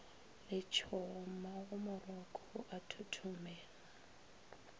letšhogo mmagomoroko o a thothomela